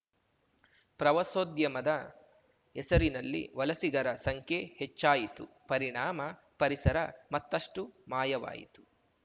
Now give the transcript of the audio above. ಪ್ರವಾಸೋದ್ಯಮದ ಹೆಸರಿನಲ್ಲಿ ವಲಸಿಗರ ಸಂಖ್ಯೆ ಹೆಚ್ಚಾಯಿತು ಪರಿಣಾಮ ಪರಿಸರ ಮತ್ತಷ್ಟುಮಾಯವಾಯಿತು